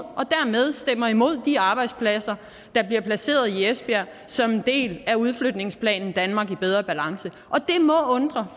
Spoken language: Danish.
dermed stemmer imod at de arbejdspladser i esbjerg som en del af udflytningsplanen danmark i bedre balance og det må undre